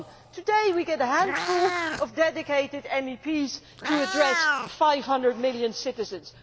Today, we get a handful of dedicated MEPs to address 500 million citizens.